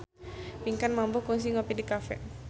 Pinkan Mambo kungsi ngopi di cafe